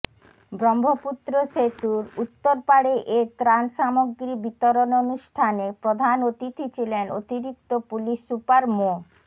ব্রহ্মপুত্র সেতুর উত্তরপাড়ে এ ত্রাণ সামগ্রী বিতরণ অনুষ্ঠানে প্রধান অতিথি ছিলেন অতিরিক্ত পুলিশ সুপার মো